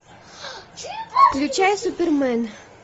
включай супермен